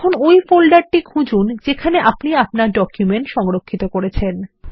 এখন ওই ফোল্ডারটি খুজুন যেখানে আপনি আপনার ডকুমেন্ট সংরক্ষিত করেছেন